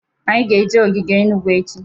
Anyị ga-aga ogige Enugu echi.